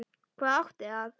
Hvað átti að